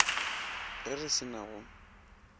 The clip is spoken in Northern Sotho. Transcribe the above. ge re se na go